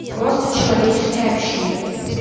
просто человеческое общение